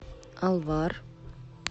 алвар